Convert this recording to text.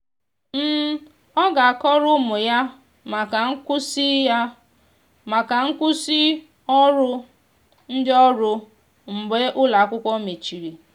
ọ ga akọrọ ụmụ ya maka nkwụsi ya maka nkwụsi ọrụ ndi ọrụ mgbe ụlọ akwụkwo mecheri.